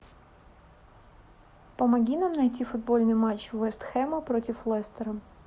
помоги нам найти футбольный матч вест хэма против лестера